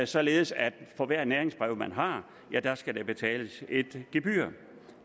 således at for hvert næringsbrev man har skal der betales et gebyr